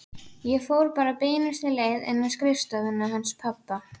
Ég fór bara beinustu leið inn í skrifstofuna hans pabba.